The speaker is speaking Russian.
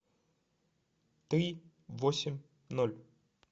три восемь ноль